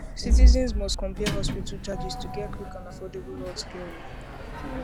citizens must compare hospital charges to get quick and um affordable healthcare um